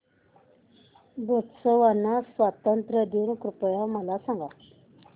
Botswana स्वातंत्र्य दिन कृपया मला सांगा